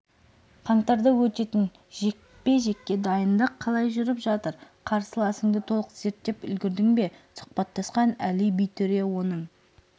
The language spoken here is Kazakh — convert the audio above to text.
қаңтарда өтетін жекпе-жекке дайындық қалай жүріп жатыр қарсыласыңды толық зерттеп үлгердің бе сұхбаттасқан әли битөре оның